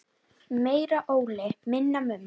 Meira Óli, minna Mummi!